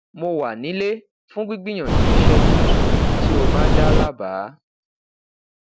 mo wa nile fun gbigbiyanju iṣe tuntun ti o ba da labaa